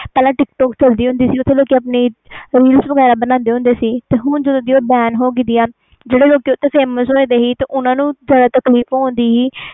ਪਹਿਲੇ tik tok ਚਲਦਾ ਹੁੰਦਾ ਸੀ ਓਥੇ ਲੋਕੀ ਆਪਣਾ reals ਵੇਗਰਾ ਬਣਦੇ ਸੀ ਹੁਣ ਜਦੋ ਦੀ ਬੈਨ ਹੋਈਆਂ ਆ ਜਿਹੜੇ ਲੋਕ famous ਹੋਏ ਸੀ ਓਹਨਾ ਨੂੰ ਜਿਆਦਾ ਹੁੰਦੇ ਸੀ